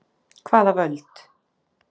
Hvaða völd?